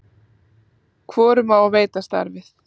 hvorum á að veita starfið